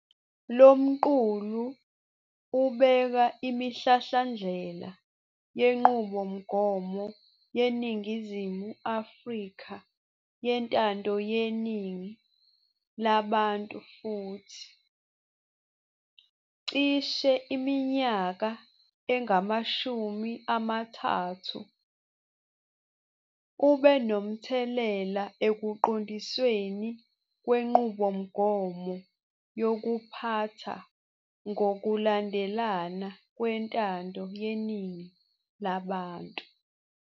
Lo mqulu ubeka imihlahlandlela yenqubomgomo yeNingizimu Afrika yentando yeningi labantu futhi, cishe iminyaka engamashumi amathathu, ubenomthelela ekuqondisweni kwenqubomgomo yokuphatha ngokulandelana kwentando yeningi labantu.